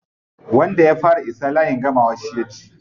Wanda ya fara isa layin gamawa shi ya ci.